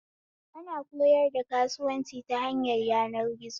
Ana koyar da kasuwanci ta hanyar yanar gizo